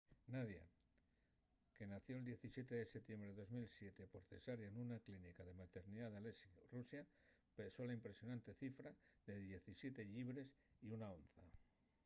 nadia que nació'l 17 de setiembre de 2007 por cesárea nuna clínica de maternidá n'aleisk rusia pesó la impresionante cifra de 17 llibres y 1 onza